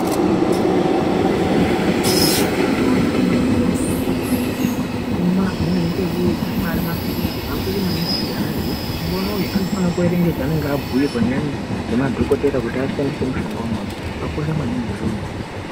Mishonga yemazuwanaya yakasiyana siyana, imweni mishonga inoite ekudzorwa pachironda imweni mishonga inoshandiswa ekuite kumwa amweni anoite ekumwa arimaphirizi. Zvakakosha maningi kuti ana aziye kuti mushonga unoyu anofanire kuerenga chaanenge abhirwe ngemadhokodhey kuti ashandise mushonga unoyu zvakakosha maningi izvona.